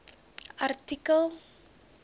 artikel